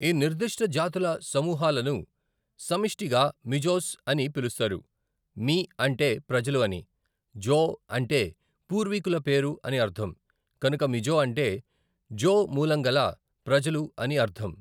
ఈ నిర్దిష్ట జాతుల సమూహాలను సమిష్టిగా మిజోస్ అని పిలుస్తారు, మి అంటే ప్రజలు అని, జో అంటే పూర్వీకుల పేరు అని అర్థం, కనుక మిజో అంటే జో మూలంగల ప్రజలు అని అర్ధం.